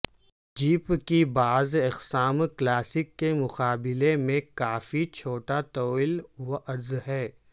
jeep کی بعض اقسام کلاسک کے مقابلے میں کافی چھوٹا طول و عرض ہے